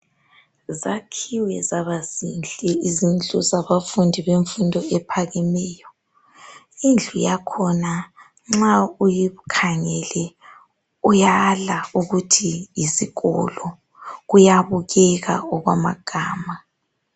Zakhiwe zaba zinhle izindlu zabafundi bemfundo ephakemeyo indlu yakhona nxa uyikhangele uyala ukuthi yisikolo kuyabukeka okwamagama